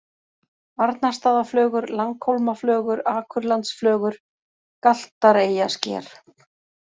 Arnarstaðaflögur, Langhólmaflögur, Akurlandsflögur, Galtareyjasker